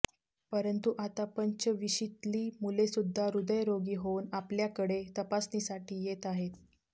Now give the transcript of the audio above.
परंतु आता पंचविशीतली मुले सुद्धा हृदयरोगी होऊन आपल्याकडे तपासणीसाठी येत आहेत